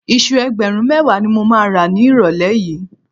Iṣu ẹgbẹ̀rún mẹ́wàá ni mo máa rà nírọ̀lẹ́ yìí